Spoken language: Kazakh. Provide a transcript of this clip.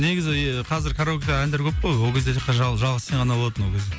негізі и қазір караоке әндер көп қой ол кезде тек қана жалғыз сен ғана болатын ол кезде